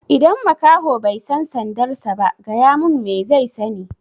Idan makaho bai san sandar sa ba, gaya mun me zai sani?